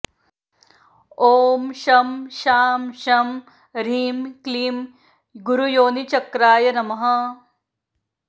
ॐ शं शां षं ह्रीं क्लीं गुरुयोनिचक्राय नमः